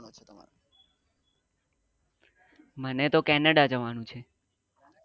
મને તો canada જવાનું છે.